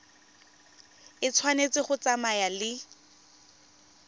e tshwanetse go tsamaya le